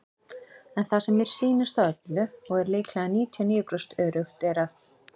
En það sem mér sýnist á öllu, og er lílega 99% öruggt er að.